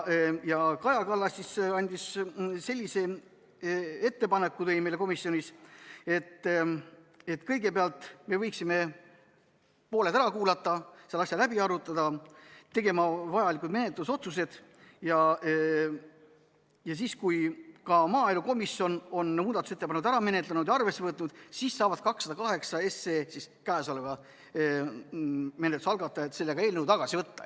Kaja Kallas tegi meile komisjonis sellise ettepaneku, et kõigepealt võiksime pooled ära kuulata, selle asja läbi arutada, teha vajalikud menetlusotsused ja siis, kui ka maaelukomisjon on muudatusettepanekud ära menetlenud ja arvesse võtnud, saavad kõnealuse eelnõu ehk 208 SE menetluse algatajad selle tagasi võtta.